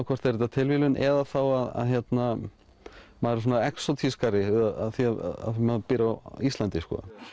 hvort er þetta tilviljun eða maður er því maður býr á Íslandi